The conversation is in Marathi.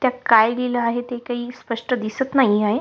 त्यात काय लिहल आहे ते काही स्पष्ट दिसत नाही आहे.